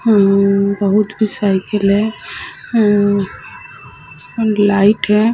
मम मम बहुत ही साईकिल है मम लाइट है।